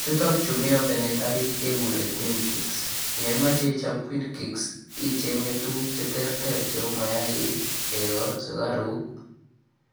Chutun chu mi ovenit orit keguren queen cakes ye imoche ichon queen cakes icheng'e tuguk che terter cheu: mayaaik, chego sugaruk,